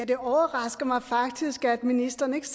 det overrasker mig faktisk at ministeren ikke